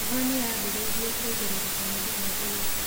Heho nĩyambĩrĩirie kuongereka mũthenya ũyũ